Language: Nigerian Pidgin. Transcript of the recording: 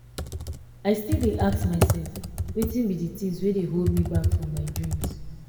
i still dey ask myself wetin be di things wey dey hold me back from my dreams